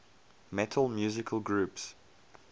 metal musical groups